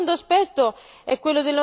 sempre più efficiente.